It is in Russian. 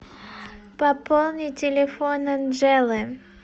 пополни телефон анжелы